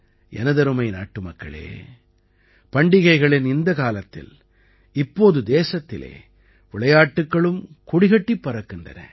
எனதருமை நாட்டுமக்களே பண்டிகைகளின் இந்தக் காலத்தில் இப்போது தேசத்திலே விளையாட்டுக்களும் கொடிகட்டிப் பறக்கின்றன